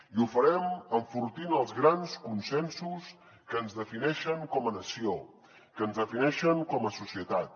i ho farem enfortint els grans consensos que ens defineixen com a nació que ens defineixen com a societat